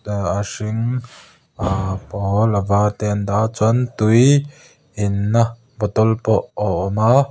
aah a hring ahh pawl a var te an dah a chuan tuiiii inna bottle pawh a awm a.